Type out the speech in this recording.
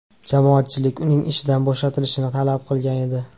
Jamoatchilik uning ishdan bo‘shatilishini talab qilgan edi .